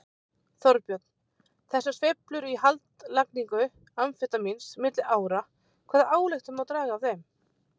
Þorbjörn: Þessar sveiflur í haldlagningu amfetamíns milli ára, hvaða ályktun má draga af þeim?